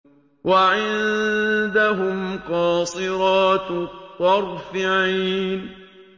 وَعِندَهُمْ قَاصِرَاتُ الطَّرْفِ عِينٌ